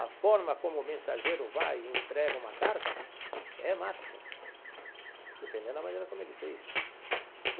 A forma como o mensageiro vai e entrega uma carta é marketing, dependendo da maneira como ele fez.